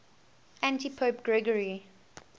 antipope gregory